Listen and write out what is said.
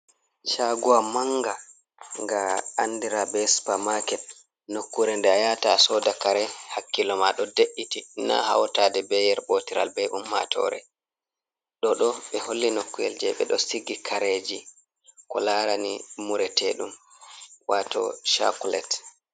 Shagowa manga ga andira be supamaket, nokkure nde a yata sooda kare hakkilo ma ɗo de'iti na hautaɗe be yer ɓotiral be ummatore, ɗo ɗo ɓe holli nokku’el jei ɓe ɗo sigi kareeji ko larani mureteɗum waato chakulet.